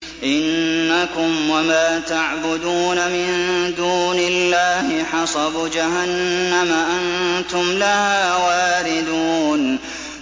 إِنَّكُمْ وَمَا تَعْبُدُونَ مِن دُونِ اللَّهِ حَصَبُ جَهَنَّمَ أَنتُمْ لَهَا وَارِدُونَ